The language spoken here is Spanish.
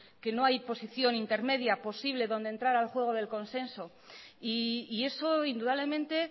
que no hay posición intermedia posible donde entrar al juego del consenso y eso indudablemente